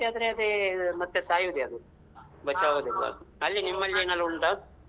ಇದಾಗಿ ಮತ್ತೇ ಜಾಸ್ತಿ ಆದ್ರೆ ಅದೇ ಮತ್ತೆ ಸಾಯುದೇ ಅದು ಅಲ್ಲಿ ನಿಮ್ಮಲ್ಲಿ ಏನಾದ್ರೂ ಉಂಟಾ?